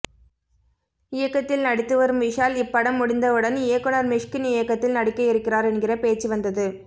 C இயக்கத்தில் நடித்து வரும் விஷால் இப்படம் முடிந்தவுடன் இயக்குனர் மிஷ்கின் இயக்கத்தில் நடிக்க இருக்கிறார் என்கிற பேச்சு வந்தது